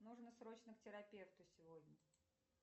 нужно срочно к терапевту сегодня